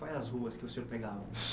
Quais é as ruas que o senhor pegava?